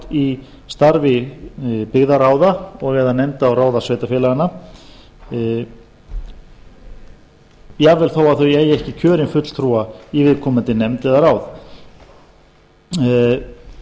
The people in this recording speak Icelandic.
í starfi byggðarráð og eða nefnda og ráða sveitarfélaganna jafnvel þó að þau eigi ekki kjörinn fulltrúa í viðkomandi nefnd eða ráði í gildandi lögum er